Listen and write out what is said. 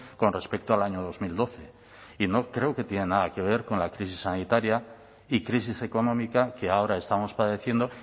con respecto al año dos mil doce y creo que no tiene nada que ver con la crisis sanitaria y crisis económica que ahora estamos padeciendo